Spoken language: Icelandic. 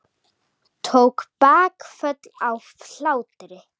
Tók bakföll af hlátri.